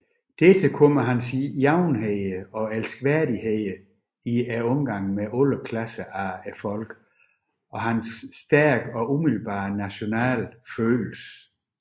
Dertil kom hans jævnhed og elskværdighed i omgang med alle klasser af folket og hans stærke og umiddelbare nationale følelse